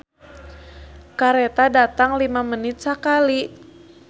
"Kareta datang lima menit sakali"